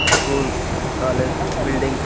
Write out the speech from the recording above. School college building .